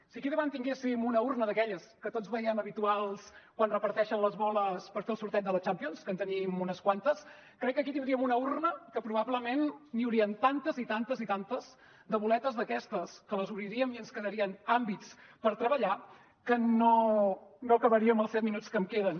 si aquí davant tinguéssim una urna d’aquelles que tots veiem habituals quan reparteixen les boles per fer el sorteig de la champions que en tenim unes quantes crec que aquí tindríem una urna que probablement n’hi haurien tantes i tantes i tantes de boletes d’aquestes que les obriríem i ens quedarien àmbits per treballar que no acabaríem els set minuts que em queden